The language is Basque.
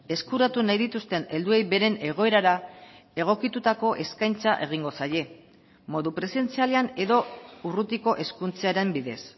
eskuratu nahi dituzten helduei beren egoerara egokitutako eskaintza egingo zaie modu presentzialean edo urrutiko hezkuntzaren bidez